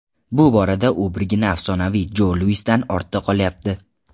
Bu borada u birgina afsonaviy Jo Luisdan ortda qolyapti.